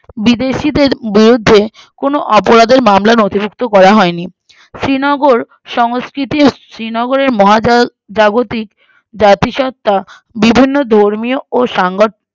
বিদেশিদের বিরুদ্ধে কোনো অপরাধের মামলা নথিভুক্ত করা হয়নি শ্রীনগর সংস্কৃতির শ্রীনগরের মহাজা জাগতিক ব্যাপি সত্ততা বিভিন্ন ধর্মী ও সাংক